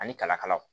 Ani kalakalaw